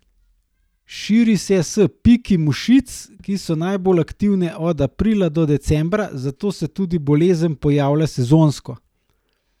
Širi se s piki mušic, ki so najbolj aktivne od aprila do decembra, zato se tudi bolezen pojavlja sezonsko.